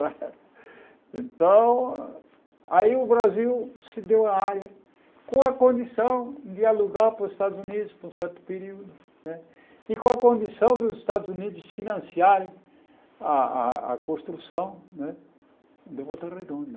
Então, aí o Brasil se deu a área, com a condição de alugar para os Estados Unidos por um certo período né, e com a condição dos Estados Unidos financiarem a a a construção né da Volta Redonda.